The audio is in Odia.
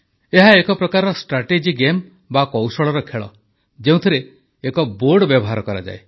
ଏହା ଏକ ପ୍ରକାରର ଷ୍ଟ୍ରାଟେଜି ଗେମ୍ ବା କୌଶଳର ଖେଳ ଯେଉଁଥିରେ ଏକ ବୋର୍ଡ ବ୍ୟବହାର କରାଯାଏ